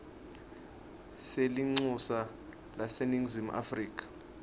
selincusa laseningizimu afrika